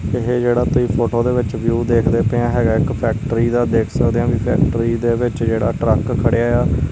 ਇਹ ਜਿਹੜਾ ਤੁਹੀ ਫੋਟੋ ਦੇ ਵਿੱਚ ਦੇਖਦੇ ਪਏ ਆਂ ਹੈਗਾ ਇੱਕ ਫੈਕਟਰੀ ਦਾ ਦੇਖ ਸਕਦੇ ਆ ਵੀ ਫੈਕਟਰੀ ਦੇ ਵਿੱਚ ਜਿਹੜਾ ਟਰੱਕ ਖੜਿਆ ਏ ਆ--